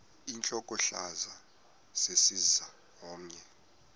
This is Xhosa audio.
intlokohlaza sesisaz omny